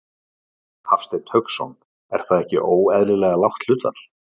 Hafsteinn Hauksson: Er það ekki óeðlilega lágt hlutfall?